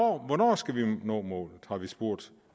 hvornår skal vi nå målet har vi spurgt